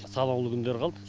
санаулы күндер қалды